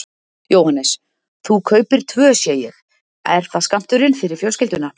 Jóhannes: Þú kaupir tvö sé ég, er það skammturinn fyrir fjölskylduna?